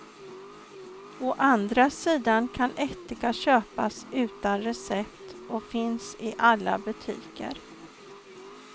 Å andra sidan kan ättika köpas utan recept och finns i alla butiker.